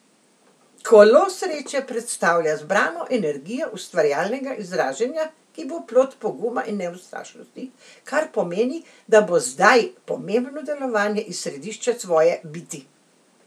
Kolo sreče predstavlja zbrano energijo ustvarjalnega izražanja, ki bo plod poguma in neustrašnosti, kar pomeni, da bo zdaj pomembno delovanje iz središča svoje biti!